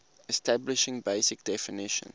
establishing basic definition